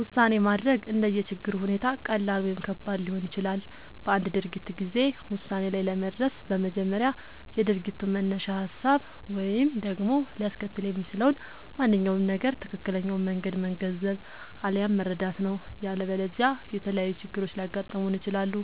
ውሳኔ ማድረግ እንደየ ችግሩ ሁኔታ ቀላል ወይም ከባድ ሊሆን ይችላል። በአንድ ድርጊት ጊዜ ውሳኔ ላይ ለመድረስ በመጀመሪያ የድርጊቱን መነሻ ሀሳብ ወይም ደግሞ ሊያስከትል የሚችለውን ማንኛውም ነገር ትክክለኛውን መንገድ መገንዘብ፣ አለያም መረዳት ነው።. ያለበለዚያ የተለያዩ ችግሮች ሊያጋጥሙን ይችላሉ።